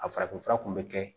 A farafinfura kun bɛ kɛ